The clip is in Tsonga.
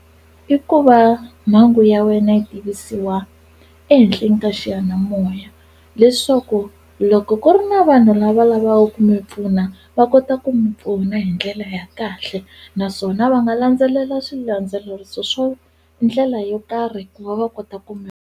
I ku va mhangu ya wena yi tivisiwa ehenhleni ka xiyanimoya leswaku loko ku ri na vanhu lava lavaku ku mi pfuna va kota ku mi pfuna hi ndlela ya kahle naswona va nga landzelela swilandzeleriso swo ndlela yo karhi ku va va kota ku mi.